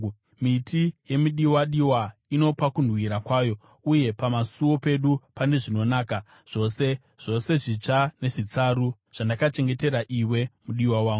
Miti yemidiwadiwa inopa kunhuhwira kwayo, uye pamusuo pedu pane zvinonaka zvose, zvose zvitsva nezvitsaru, zvandakachengetera iwe, mudiwa wangu.